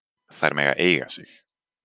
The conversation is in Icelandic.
Þær mega eiga sig.